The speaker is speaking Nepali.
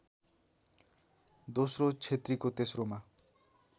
दोस्रो क्षेत्रीको तेस्रोमा